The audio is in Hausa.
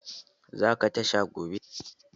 Za ka tashan gobe?